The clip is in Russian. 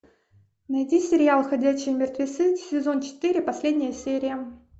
найди сериал ходячие мертвецы сезон четыре последняя серия